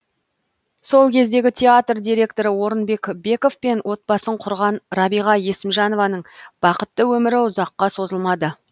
сол кездегі театр директоры орынбек бековпен отбасын құрған рабиға есімжанованың бақытты өмірі ұзаққа созылмады